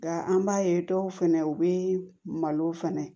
Nka an b'a ye dɔw fɛnɛ u bɛ malow fɛnɛ